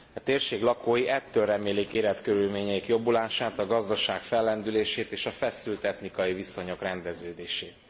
A térség lakói ettől remélik életkörülményeik jobbulását, a gazdaság fellendülését és a feszült etnikai viszonyok rendeződését.